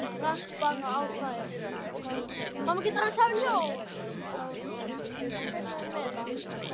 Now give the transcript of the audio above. Rakst bara á tvær.